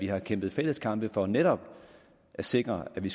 har kæmpet fælles kampe for netop at sikre at vi